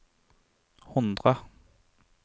hundre